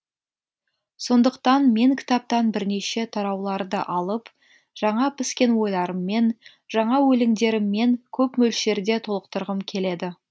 сондықтан мен кітаптан бірнеше тарауларды алып жаңа піскен ойларыммен жаңа өлеңдеріммен көп мөлшерде толықтырғым келеді